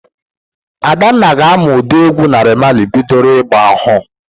Adanna ga-amụ ụdị égwú Naịra Mali bidoro ị́gbā ọhụụ.